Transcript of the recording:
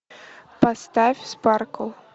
поставь спаркл